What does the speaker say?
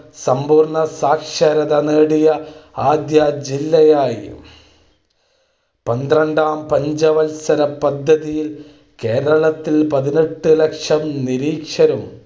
സമ്പൂർണ്ണ സാക്ഷരത നേടിയ ആദ്യ ജില്ലയായി. പന്ത്രണ്ടാം പഞ്ചവത്സര പദ്ധതിയിൽ കേരളത്തിൽ പതിനെട്ട് ലക്ഷം നിരക്ഷരും